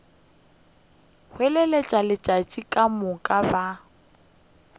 hlwele letšatši ka moka ba